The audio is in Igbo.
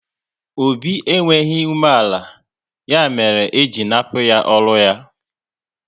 Obi enweghị umeala, ya mere e ji nnapu ya ọrụ ya